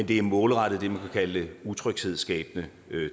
det er målrettet det man kalde utryghedsskabende